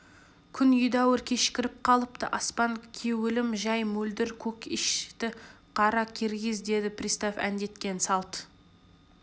күн едәуір кешкіріп қалыпты аспан кеуілім жай мөлдір көк ишь ты қара-киргиз деді пристав әндеткен салт